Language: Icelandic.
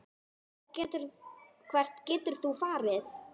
Hvert getur þú farið?